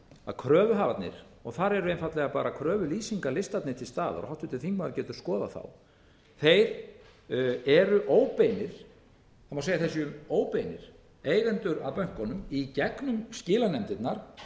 að kröfuhafarnir þar eru einfaldlega bara kröfulýsingarlistarnir til staðar og háttvirtur þingmaður getur skoðað það þeir eru óbeinir það má segja að þeir séu óbeinir eigendur að bönkunum í gegnumskilanefndirnar